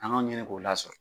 An ka ɲini k'o lasɔrɔ.